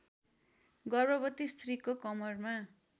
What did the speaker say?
गर्भवती स्त्रीको कमरमा